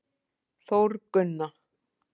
Þórgunna